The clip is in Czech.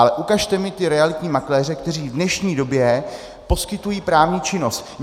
Ale ukažte mi ty realitní makléře, kteří v dnešní době poskytují právní činnost.